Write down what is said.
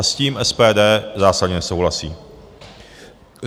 A s tím SPD zásadně nesouhlasí.